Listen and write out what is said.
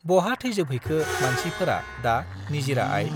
बहा थैजोब हैखो मानसि फोरा दा निजिरा आइ